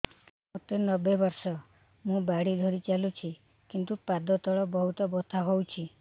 ମୋତେ ନବେ ବର୍ଷ ମୁ ବାଡ଼ି ଧରି ଚାଲୁଚି କିନ୍ତୁ ପାଦ ତଳ ବହୁତ ବଥା ହଉଛି